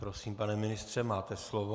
Prosím, pane ministře, máte slovo.